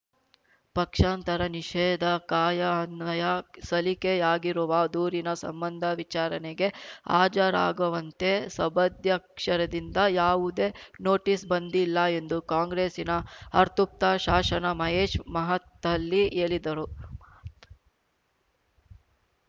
ಪಕ್ಷಾಂತರ ನಿಷೇಧ ಕಾಯಅನ್ವಯ ಸಲ್ಲಿಕೆಯಾಗಿರುವ ದೂರಿನ ಸಂಬಂಧ ವಿಚಾರಣೆಗೆ ಹಾಜರಾಗುವಂತೆ ಸಭಧ್ಯಕ್ಷರಿಂದ ಯಾವುದೇ ನೋಟಿಸ್ ಬಂದಿಲ್ಲ ಎಂದು ಕಾಂಗ್ರೆಸ್ಸಿನ ಅರ್ತುಪ್ತ ಶಾಸನ ಮಹೇಶ್ ಮಹತ್ತಳ್ಳಿ ಹೇಳಿದರು ಮಾತ್